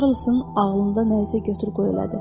Karlson ağlında nəsə götür-qoy elədi.